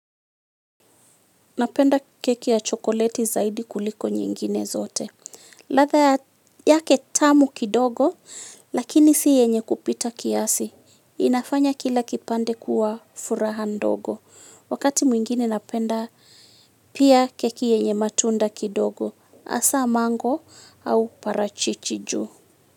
Napenda keki ya chokoleti zaidi kuliko nyingine zote. Ladha yake tamu kidogo, lakini si yenye kupita kiasi. Inafanya kila kipande kuwa furaha ndogo. Wakati mwingine napenda pia keki yenye matunda kidogo, hasa mango au parachichi juu.